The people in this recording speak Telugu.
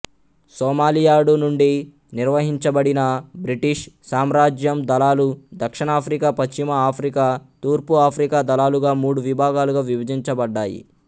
సోమాలియాడు నుండి నిర్వహించబడిన బ్రిటీషు సామ్రాజ్యం దళాలు దక్షిణాఫ్రికా పశ్చిమ ఆఫ్రికా తూర్పు ఆఫ్రికా దళాలుగా మూడు విభాగాలుగా విభజించబడ్డాయి